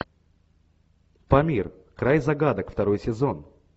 памир край загадок второй сезон